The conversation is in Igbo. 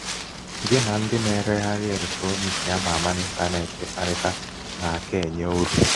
Gị na ndị na-ereghari eletrọniki ama ama n' ịntanetị ịkparịta na-aka um enye uru.